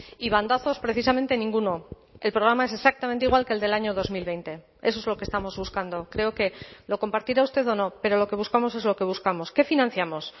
y bandazos precisamente ninguno el programa es exactamente igual que el del año dos mil veinte eso es lo que estamos buscando creo que lo compartirá usted o no pero lo que buscamos es lo que buscamos qué financiamos